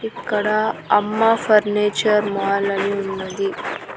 ఇక్కడ అమ్మ ఫర్నిచర్ మాలలు ఉన్నది.